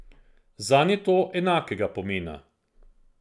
Zanj je to enakega pomena.